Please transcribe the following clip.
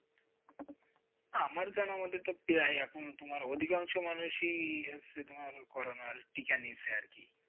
হ্যাঁ, আমার জানামতে তো প্রায় এখন তোমার অধিকাংশ মানুষই আছে, তোমার corona র টিকা নিয়েছে আর কি।